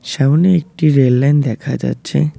সামনে একটি rail line দেখা যাচ্ছে।